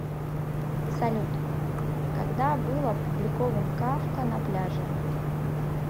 салют когда был опубликован кафка на пляже